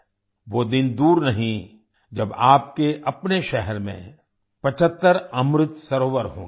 वो दिन दूर नहीं जब आपके अपने शहर में 75 अमृत सरोवर होंगे